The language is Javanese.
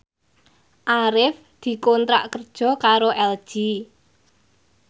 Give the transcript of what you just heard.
Arif dikontrak kerja karo LG